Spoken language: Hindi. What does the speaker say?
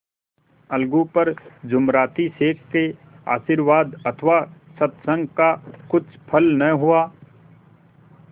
अलगू पर जुमराती शेख के आशीर्वाद अथवा सत्संग का कुछ फल न हुआ